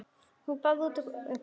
Hún baðaði út öllum öngum.